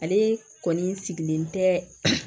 Ale kɔni sigilen tɛ